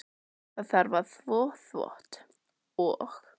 Það þarf að þvo þvott og.